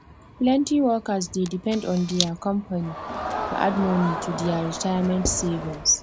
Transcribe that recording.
plenty workers dey depend on dia company to add money to dia retirement savings